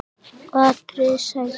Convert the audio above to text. atriði: Sættir?